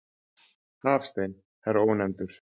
Hafstein, herra Ónefndur.